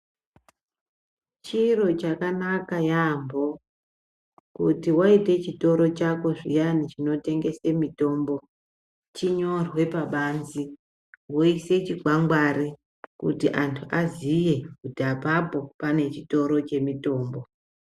Chiro chakanaka yaampo kuti waite chitoro chako zviyani chinotengese mutombo chinyorwe pabanze woise chikwangwari khti antu aziye kuti apapo pane chitoro chemutombo.